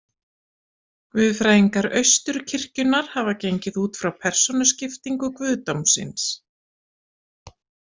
Guðfræðingar Austurkirkjunnar hafa gengið út frá persónuskiptingu guðdómsins.